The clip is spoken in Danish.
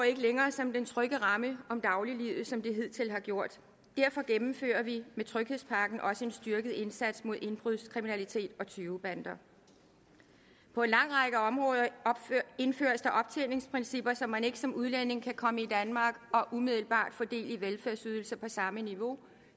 ikke længere som den trygge ramme om dagliglivet som det hidtil har gjort derfor gennemfører vi med tryghedspakken også en styrket indsats mod indbrudskriminalitet og tyvebander på en lang række områder indføres der optjeningsprincipper så man ikke som udlænding kan komme til danmark og umiddelbart få del i velfærdsydelser på samme niveau